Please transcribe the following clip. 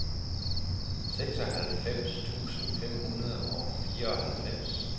seksoghalvfems tusind fem hundrede og fireoghalvfems